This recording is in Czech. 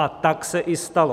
A tak se i stalo.